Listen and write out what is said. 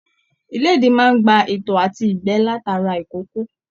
Ilédì máa n gbà ìtọ̀ àti igbẹ látara ikòkò.